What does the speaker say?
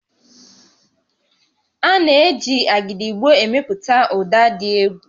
A na-eji Agidigbo emepụta ụda dị egwu